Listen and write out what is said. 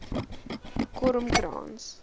kormkrans